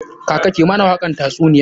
Kaka ki mana wakan tatsuniyar!